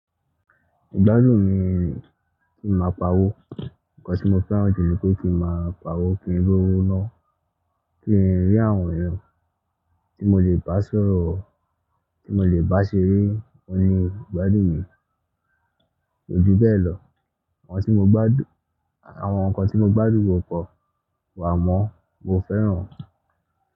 Ìgbádùn mi kí n máa pa owó. Ǹkan tí mo fẹ́ràn jù ní pé kí n máa pa owó kí n rí owó nọ́, kí n rí àwọn ẹ̀yàn tí mo lè bá sọ̀rọ̀, tí mo lè bá ṣeré. Ó ní ìgbádùn mi kójú bẹ́ẹ̀ lọ. Àwọn tí mo gbádùn, àwọn nǹkan tí mo gbádùn kopọ̀ wàmọ́, mo fẹ́ràn wọ́n.